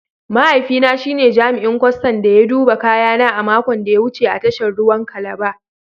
Mahaifina shi ne jami'in kwastan da ya duba kayana a makon da ya wuce a tashar ruwan Calabar